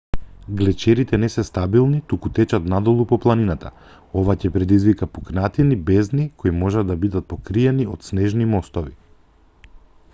глечерите не се стабилни туку течат надолу по планината ова ќе предизвика пукнатини бездни кои може да бидат покриени од снежни мостови